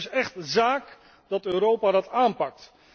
Dus het is echt zaak dat Europa dat aanpakt.